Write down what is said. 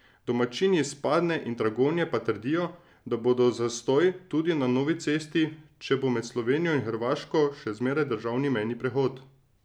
Domačini iz Padne in Dragonje pa trdijo, da bodo zastoji tudi na novi cesti, če bo med Slovenijo in Hrvaško še zmeraj državni mejni prehod.